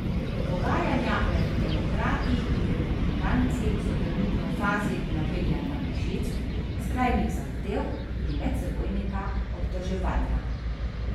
Pogajanja med demokrati in republikanci so trenutno v fazi napenjanja mišic, skrajnih zahtev in medsebojnega obtoževanja.